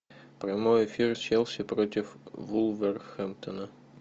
прямой эфир челси против вулверхэмптона